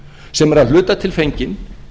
sem er að hluta til fenginn